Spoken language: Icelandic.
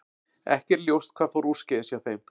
Ekki er ljóst hvað fór úrskeiðis hjá þeim.